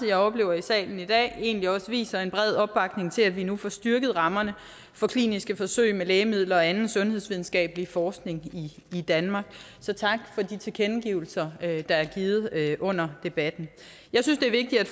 jeg oplever i salen i dag viser en bred opbakning til at vi nu får styrket rammerne for kliniske forsøg med lægemidler og anden sundhedsvidenskabelig forskning i danmark så tak for de tilkendegivelser der er givet under debatten jeg synes det er vigtigt at